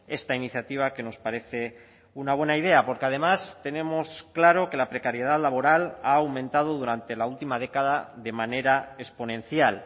esta iniciativa que nos parece una buena idea porque además tenemos claro que la precariedad laboral ha aumentado durante la última década de manera exponencial